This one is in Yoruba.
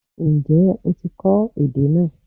Ǹjẹ́ o ti kọ́ èdè náà